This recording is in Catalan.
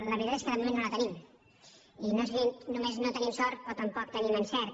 la veritat és que de moment no en tenim i no sé si només no tenim sort o tampoc tenim encert